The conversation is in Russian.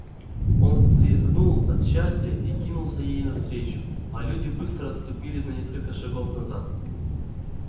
он взвизгнул от счастья и кинулся ей навстречу а люди быстро отступили на несколько шагов назад